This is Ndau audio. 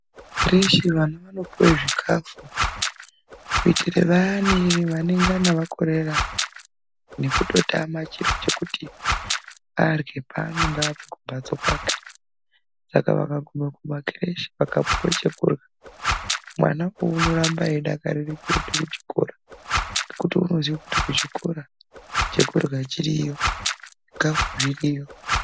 Kukhireshi vana vanopuwe zvikhafu, kuitire vayani vanongana vakorera, nekutotama chiro chekuti arye paanonga abva kumbatso kwake. Saka vakaguma kumakhireshi vakapuwa chekurya, mwanawo unoramba eidakarire kuenda kuchikora. Ngekuti unoziya kuti kuchikora chekurya chiriyo, zvikafu zviriyo.